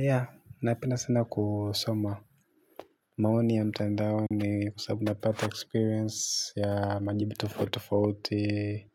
Ya, napenda sana kusoma. Maoni ya mtandaoni kwa sababu napata experience ya majibu tofauti tofauti